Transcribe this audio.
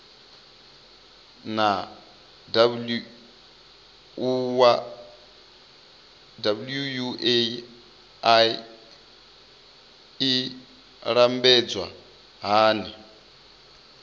naa wua i lambedzwa hani